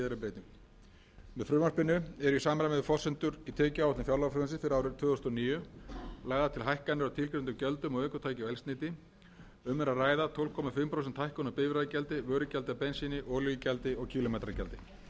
um bifreiðagjald með síðari breytingum með frumvarpinu eru í samræmi við forsendur í tekjuáætlun fjárlagafrumvarpsins fyrir árið tvö þúsund og níu lagðar til hækkanir á tilgreindum gjöldum á ökutæki og eldsneyti um er að ræða tólf og hálft prósent hækkun á bifreiðagjaldi vörugjaldi af bensíni olíugjaldi og kílómetragjaldi í upphaflegu frumvarpi til fjárlaga fyrir árið